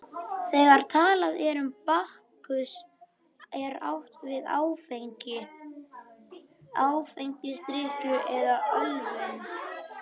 Þegar talað er um Bakkus er átt við áfengi, áfengisdrykkju eða ölvun.